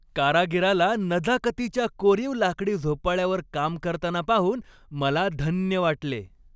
कारागिराला नजाकतीच्या कोरीव लाकडी झोपाळ्यावर काम करताना पाहून मला धन्य वाटले.